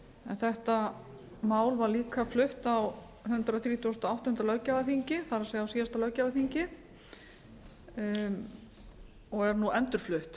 en þetta mál var líka flutt á hundrað þrítugasta og áttunda löggjafarþingi það er á síðasta löggjafarþingi og er nú endurflutt